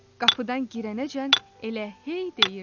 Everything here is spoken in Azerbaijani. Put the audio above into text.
Qapıdan girənəcən elə hey deyirdi: